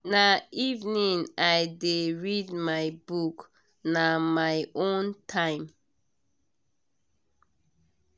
na evening i dey read my book na my own time.